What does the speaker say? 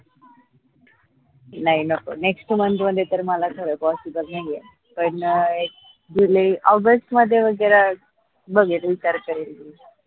नाई नको next month मध्ये तर माला खर possible नाई ए पण जुलै ऑगस्ट मध्ये वगैरा बघेल विचार करेल